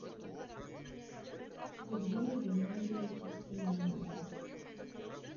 сергея геннадьевича симонова